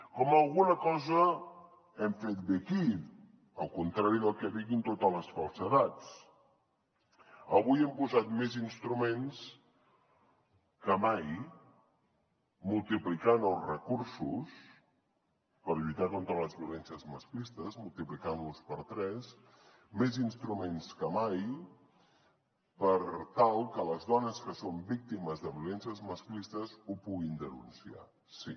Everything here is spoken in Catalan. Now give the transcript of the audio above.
com alguna cosa hem fet bé aquí al contrari del que diguin totes les falsedats avui hem posat més instruments que mai multiplicant els recursos per lluitar contra les violències masclistes multiplicant los per tres més instruments que mai per tal que les dones que són víctimes de violències masclistes ho puguin denunciar sí